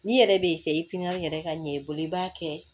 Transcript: N'i yɛrɛ b'i kɛ i piɲɛri ka ɲɛ i bolo i b'a kɛ